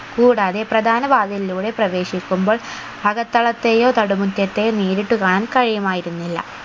കൂടാതെ പ്രധാന വാതിലിലൂടെ പ്രവേശിക്കുമ്പോൾ അകത്തളത്തെയോ നടുമുറ്റത്തെയോ നേരിട്ട് കാണാൻ കഴിയുമായിരുന്നില്ല